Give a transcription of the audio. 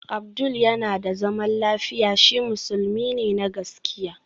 Abdul yana da zaman lafiya, shi musulmi ne na gaskiya